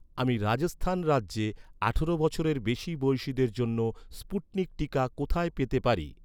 আমি রাজস্থান রাজ্যে আঠারো বছরের বেশি বয়সিদের জন্য স্পুটনিক টিকা কোথায় পেতে পারি?